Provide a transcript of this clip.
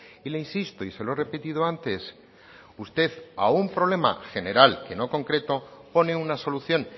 y le insisto y se lo he repetido antes usted a un problema general que no concreto pone una solución